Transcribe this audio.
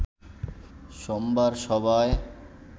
সোমবার সভায়